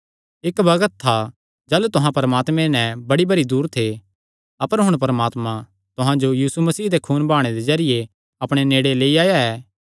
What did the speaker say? इक्क बग्त था जाह़लू तुहां परमात्मे ते बड़ी भरी दूर थे अपर हुण परमात्मा तुहां जो यीशु मसीह दे खून बहाणे दे जरिये अपणे नेड़े लेई आया ऐ